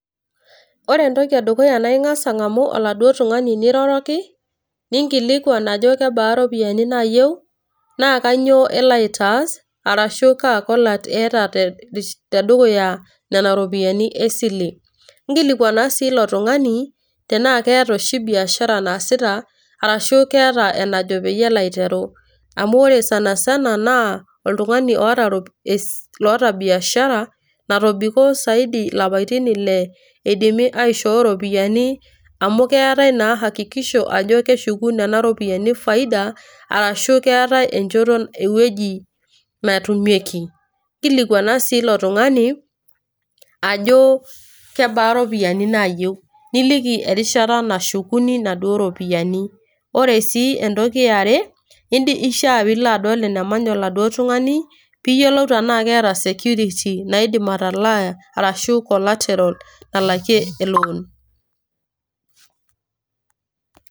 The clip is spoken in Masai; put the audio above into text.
Ore entoki edukuya na ing'asa ang'amu oladuo tung'ani niroroki, ninkilikwan ajo kebaa iropiyiani naayieu, na kanyioo elo aitaas, arashu ka kolat eeta tedukuya nena ropiyaiani esile. Nkilikwana si ilo tung'ani, tenaa keeta oshi biashara naasita arashu keeta enajo peyie elo aiteru. Amu ore sanasana naa, oltung'ani loota es loota biashara, natobiko saidi lapaitin ile, eidimi aishoo ropiyaiani, amu keetae naa hakikisho ajo keshuku nena ropiyaiani faida, arashu keetae enchoto ewueji natumieki. Nkilikwana si ilo tung'ani, ajo kebaa iropiyiani naayieu. Niliki erishata nashukuni naduo ropiyaiani. Ore si entoki eare, ishaa pilo adol enemanya oladuo tung'ani, piyiolou tenaa keeta security naidim atalaa arashu collateral nalakie elon.